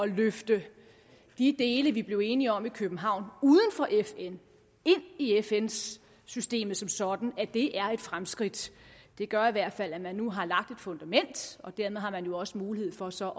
løfte de dele vi blev enige om i københavn uden for fn ind i fn systemet som sådan og det er et fremskridt det gør i hvert fald at man nu har lagt et fundament og dermed har man jo også mulighed for så